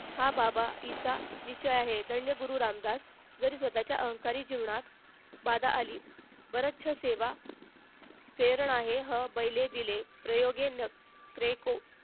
हा हा बाबा एस विधाय आहे धन्य गुरु रामदास जरी स्वतःच्या अहंकारी जीवनात बडा आली बरच्च सेवा फेरण आहे हे पहिले दिले प्रयोगें परेको